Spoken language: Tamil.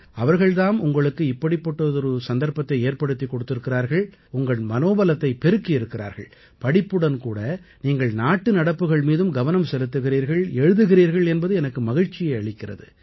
அவர்கள் தாம் உங்களுக்கு இப்படிப்பட்டதொரு சந்தர்ப்பத்தை ஏற்படுத்திக் கொடுத்திருக்கிறார்கள் உங்கள் மனோபலத்தைப் பெருக்கியிருக்கிறார்கள் படிப்புடன் கூட நீங்கள் நாட்டு நடப்புகள் மீதும் கவனம் செலுத்துகிறீர்கள் எழுதுகிறீர்கள் என்பது எனக்கு மகிழ்ச்சியை அளிக்கிறது